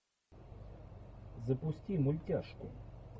запусти мультяшку